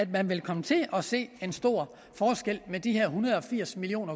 vil komme til at se en stor forskel med de her en hundrede og firs million